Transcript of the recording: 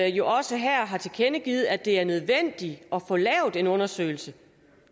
jo også her har tilkendegivet at det er nødvendigt at få lavet en undersøgelse